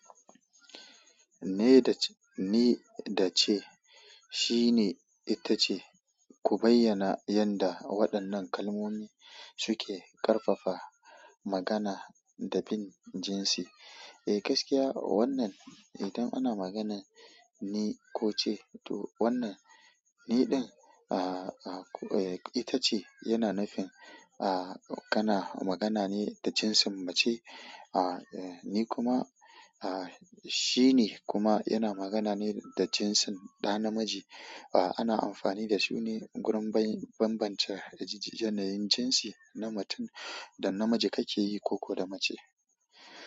Ni da ce, shi ne ita ce, ku bayyana yanda waɗannan kalmomi suke ƙarfafa magana da bin jinsi. Eh gaskiya wannan, idan ana magana ni ko ce to wannan ni ɗin, ah ah ita ce yana nufin ah kana magana ne da jinsin mace. Ah ni kuma, ah shi ne kuma yana magana ne da jinsin ɗa namiji. Ah ana amfani da su ne gurin banbance yanayin jinsi na matun da namiji kake yi ko da mace.